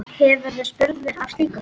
Hefurðu spurnir af slíku?